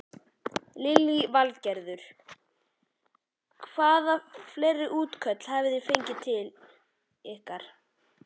Lillý Valgerður: Hvaða fleiri útköll hafi þið fengið hingað til?